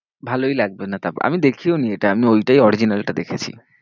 ভালোই লাগবে না তারপর, আমি দেখিওনি এটা, আমি ওইটাই original টা দেখেছি।